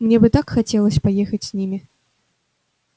мне бы так хотелось поехать с ними